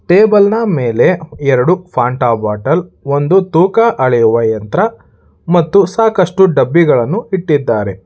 Table ನ ಮೇಲೆ ಎರಡು ಫಾಂಟ ಬಾಟಲ್ ಒಂದು ತೂಕ ಅಳೆಯುವ ಯಂತ್ರ ಮತ್ತು ಸಾಕಷ್ಟು ಡಬ್ಬಿಗಳನ್ನು ಇಟ್ಟಿದ್ದಾರೆ.